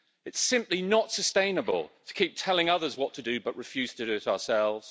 It's simply not sustainable to keep telling others what to do but refuse to do it ourselves.